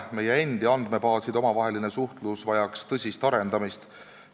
Meie endi andmebaaside omavaheline suhtlus vajab tõsist arendamist.